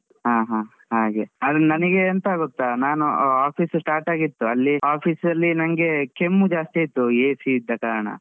ಹ ಹ ಹಾಗೆ. ಅದು ನನಿಗೆ ಎಂತ ಗೊತ್ತ ನಾನೂ office ಸ್ಸು start ಆಗಿತ್ತು. ಅಲ್ಲೀ office ಅಲ್ಲಿ ನಂಗೆ ಕೆಮ್ಮು ಜಾಸ್ತಿ ಆಯ್ತು, AC ಇದ್ದ ಕಾರಣ.